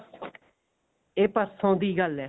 ਇਹ ਪਰਸੋੰ ਦੀ ਗੱਲ ਹੈ